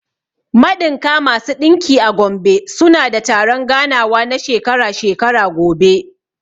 Maɗinka/ masu ɗinki a Gombe suna da taron ganawa na shekara-shekara gobe.